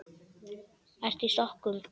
Ertu í sokkum?